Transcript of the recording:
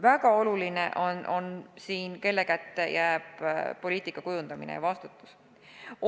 Väga oluline on, kelle kätte jääb poliitika kujundamine ja vastutus.